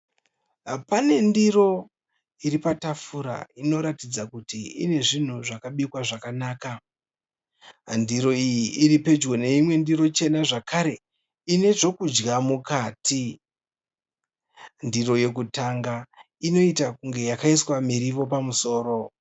Pane ndiro iri patafura inoratidza kuti ine zvinhu zvakabikwa zvakanaka. Ndiro iyi iripedyo neimwe ndiro chena zvakare ine zvekudya mukati. Ndiro yekutanga inoita kunge yakaiswa miriwo pamusoro.